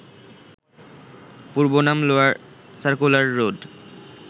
পূর্বনাম lower circular road